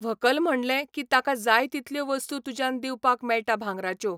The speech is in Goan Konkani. व्हंकल म्हणलें की ताका जाय तितल्यो वस्तू तुज्यान दिवपाक मेळटा भांगराच्यो.